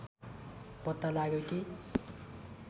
पत्ता लाग्यो कि